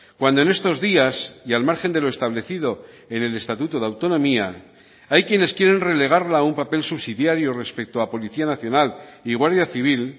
cuando en estos días y al margen de lo establecido en el estatuto de autonomía hay quienes quieren relegarla a un papel subsidiario respecto a policía nacional y guardia civil